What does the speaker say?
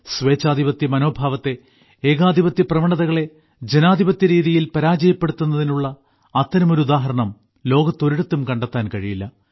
സ്വേച്ഛാധിപത്യ മനോഭാവത്തെ ഏകാധിപത്യ പ്രവണതകളെ ജനാധിപത്യ രീതിയിൽ പരാജയപ്പെടുത്തുന്നതിനുള്ള അത്തരമൊരു ഉദാഹരണം ലോകത്തൊരിടത്തും കണ്ടെത്താൻ കഴിയില്ല